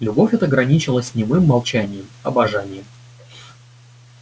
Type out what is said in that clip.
любовь эта граничила с немым молчанием обожанием